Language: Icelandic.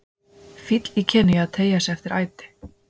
Fíll í Kenía að teygja sig eftir æti.